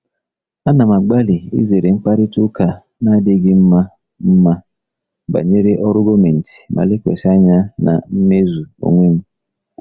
Ana m agbalị izere mkparịta ụka na-adịghị mma mma banyere ọrụ gọọmentị ma lekwasị anya na mmezu onwe m.